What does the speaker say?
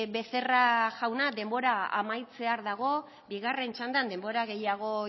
becerra jauna denbora amaitzear dago bigarren txandan denbora gehiago